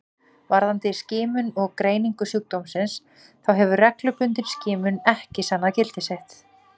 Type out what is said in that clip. Varðandi skimun og greiningu sjúkdómsins þá hefur reglubundin skimun ekki sannað gildi sitt.